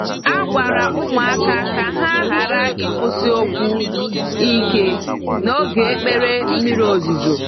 A gwara ụmụaka ka ha ghara ikwusi okwu ike n'oge ekpere mmiri ozuzo.